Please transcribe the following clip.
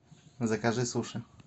закажи суши